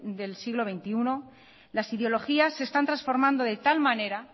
del siglo veintiuno las ideologías se están transformando de tal manera